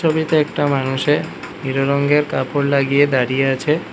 ছবিতে একটা মানুষে রংগের কাপড় লাগিয়ে দাঁড়িয়ে আছে।